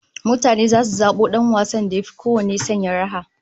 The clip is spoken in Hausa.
Mutane zasu zabo dan wasan da yafi kowanne sanya raha